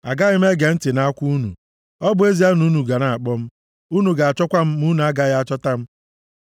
“Agaghị m ege ntị nʼakwa unu, ọ bụ ezie na unu ga na-akpọ m. Unu ga-achọkwa m ma unu agaghị achọta m.